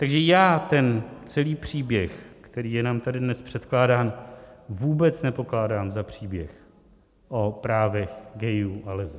Takže já ten celý příběh, který je nám tady dnes předkládán, vůbec nepokládám za příběh o právech gayů a leseb.